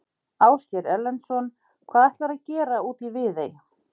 Ásgeir Erlendsson: Hvað ætlarðu að gera úti í Viðey?